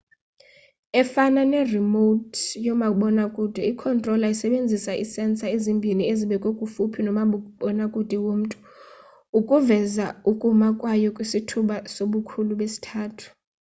efana ne-remote yomabonwakude i-controlla isebenzisa ii-sensor ezimbhini ezibekwe kufuphi nomabonakude womntu ukuveza ukuma kwayo kwisithuba sobukhulu besithathu